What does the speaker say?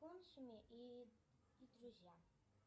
и друзья